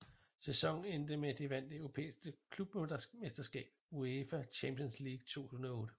Sæsonen endte med at de vandt det europæiske klubmesterskab UEFA Champions League 2008